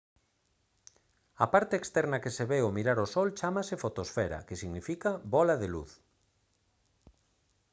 a parte externa que se ve ao mirar o sol chámase fotosfera que significa «bóla de luz»